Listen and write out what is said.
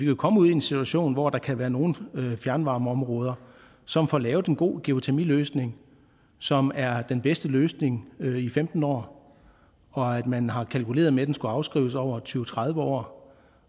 jo komme ud i en situation hvor der kan være nogle fjernvarmeområder som får lavet en god geotermiløsning som er den bedste løsning i femten år og man har kalkuleret med at den skulle afskrives over tyve til tredive år